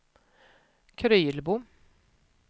Krylbo